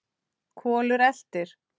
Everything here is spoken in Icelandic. Kolur eltir.